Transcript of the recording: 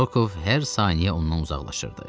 Rokov hər saniyə ondan uzaqlaşırdı.